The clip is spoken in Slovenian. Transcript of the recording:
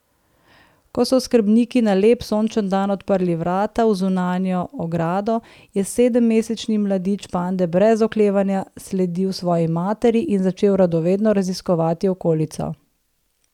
Ko so oskrbniki na lep sončen dan odprli vrata v zunanjo ogrado, je sedemmesečni mladič pande brez oklevanja sledil svoji materi in začel radovedno raziskovati okolico.